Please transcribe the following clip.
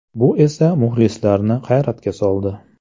Bu esa muxlislarni hayratga soldi.